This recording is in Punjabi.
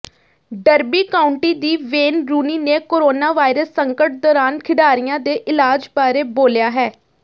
ਡਰਬੀ ਕਾਉਂਟੀ ਦੀ ਵੇਨ ਰੂਨੀ ਨੇ ਕੋਰੋਨਾਵਾਇਰਸ ਸੰਕਟ ਦੌਰਾਨ ਖਿਡਾਰੀਆਂ ਦੇ ਇਲਾਜ ਬਾਰੇ ਬੋਲਿਆ ਹੈ